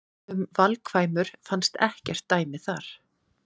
Um valkvæmur fannst ekkert dæmi þar.